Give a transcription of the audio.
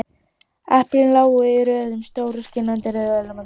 Eplin lágu í röðum, stór, skínandi rauð og ilmandi.